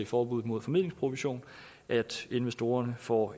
forbuddet mod formidlingsprovision at investorerne får